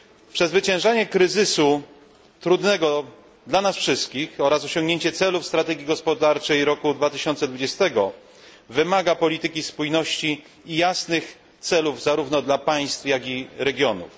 Przezwyciężanie kryzysu, trudnego dla nas wszystkich, oraz osiągnięcie celów strategii gospodarczej roku 2020 wymaga polityki spójności i jasnych celów zarówno dla państw, jak i regionów.